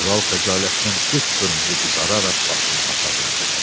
Kral xəcalətdən qıpqırmızı qızararaq başını aşağı endirdi.